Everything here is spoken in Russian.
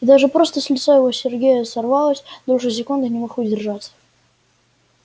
и даже просто с лица его сергея сорвалась дольше секунды не мог удержаться